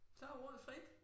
Så ordet frit